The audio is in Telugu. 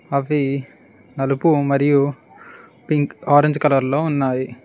అవి నలుపు మరియు పింక్ ఆరెంజ్ కలర్ లో ఉన్నాయి.